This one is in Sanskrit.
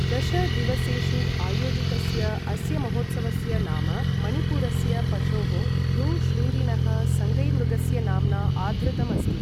दश दिवसेषु आयोजितस्य अस्य महोत्सवस्य नाम मणिपुरस्य पशोः, भ्रू शृङ्गिनः सङ्गैमृगस्य नाम्ना आधृतम् अस्ति।